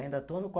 Ainda estão no